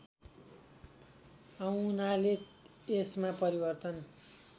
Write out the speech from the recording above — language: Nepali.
आउनाले यसमा परिवर्तन